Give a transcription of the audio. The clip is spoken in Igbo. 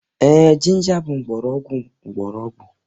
Ee, ginger bụ mgbọrọgwụ mgbọrọgwụ